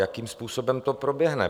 Jakým způsobem to proběhne?